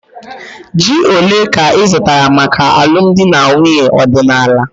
Ji ole ka ị zụtara maka alụmdi na nwunye ọdịnala?